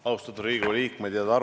Austatud Riigikogu liikmed!